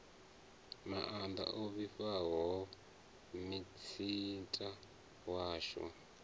maanda o fhiwaho minisita washu